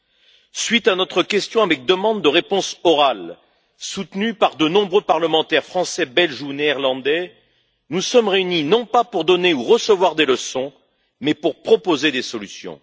À la suite de notre question avec demande de réponse orale, soutenue par de nombreux parlementaires français, belges ou néerlandais, nous sommes réunis, non pas pour donner ou recevoir des leçons, mais pour proposer des solutions.